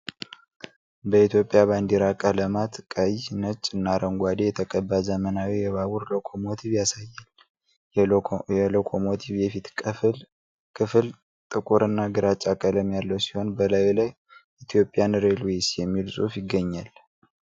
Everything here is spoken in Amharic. በኢትዮጵያ ባንዲራ ቀለማት (ቀይ፣ ነጭ እና አረንጓዴ) የተቀባ ዘመናዊ የባቡር ሎኮሞቲቭ ያሳያል። የሎኮሞቲቭ የፊት ክፍል ጥቁር እና ግራጫ ቀለም ያለው ሲሆን፣ በላዩ ላይ "ኢትዮጵያን ሬልዌይስ" የሚል ጽሑፍ ይገኛል።